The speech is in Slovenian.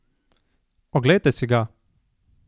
Oglejte si ga!